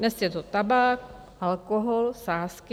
Dnes je to tabák, alkohol, sázky.